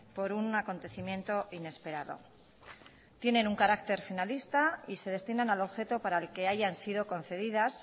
por un acontecimiento inesperado tienen un carácter finalista y se destinan al objeto para el que hayan sido concedidas